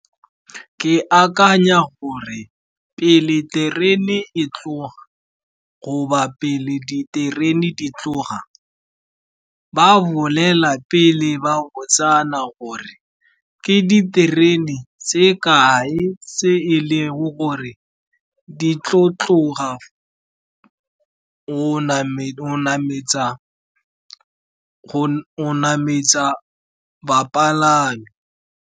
Ke akanya gore pele terene e tloga goba pele diterene di tloga, ba bolela pele ba botsana gore ke diterene tse kae tse e leng gore di tlo tlogo go nametsa bapalami.